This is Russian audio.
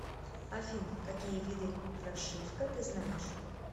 афина какие виды прошивка ты знаешь